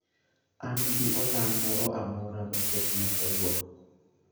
An gi olang' moro amora moketna kawuono